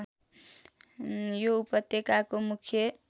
यो उपत्यकाको मुख्य